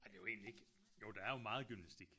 Ej det er jo egentlig ikke jo der er jo meget gymnastik